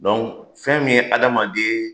Dɔnku fɛn min ye adamaden